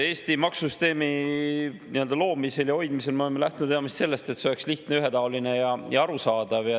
Eesti maksusüsteemi loomisel ja hoidmisel me oleme lähtunud peamiselt sellest, et see oleks lihtne, ühetaoline ja arusaadav.